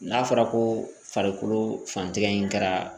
N'a fɔra ko farikolo fantigɛ in kɛra